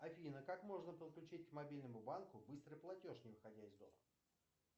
афина как можно подключить к мобильному банку быстрый платеж не выходя из дома